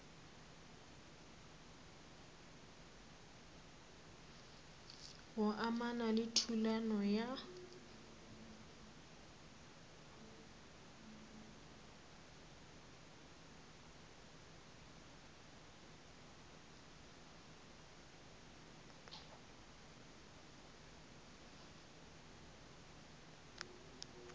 go amana le thulano ya